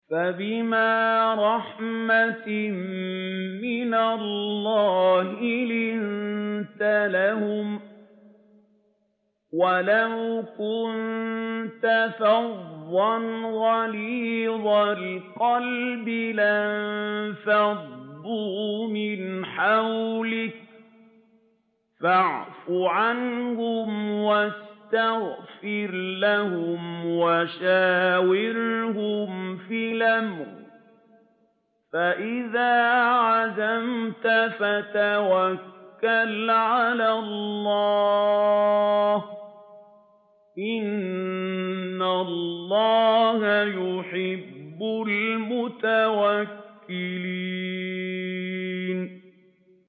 فَبِمَا رَحْمَةٍ مِّنَ اللَّهِ لِنتَ لَهُمْ ۖ وَلَوْ كُنتَ فَظًّا غَلِيظَ الْقَلْبِ لَانفَضُّوا مِنْ حَوْلِكَ ۖ فَاعْفُ عَنْهُمْ وَاسْتَغْفِرْ لَهُمْ وَشَاوِرْهُمْ فِي الْأَمْرِ ۖ فَإِذَا عَزَمْتَ فَتَوَكَّلْ عَلَى اللَّهِ ۚ إِنَّ اللَّهَ يُحِبُّ الْمُتَوَكِّلِينَ